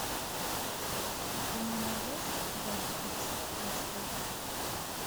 ты мне найдешь бен икс аш д